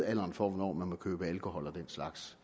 alderen for hvornår man må købe alkohol og den slags